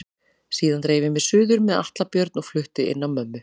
Síðan dreif ég mig suður með Atla Björn og flutti inn á mömmu.